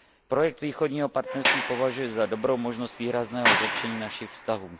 Projekt Východního partnerství považuji za dobrou možnost výrazného zlepšení našich vztahů.